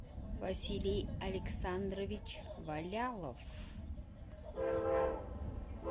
василий александрович валялов